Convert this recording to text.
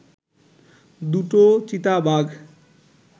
দুটো চিতাবাঘ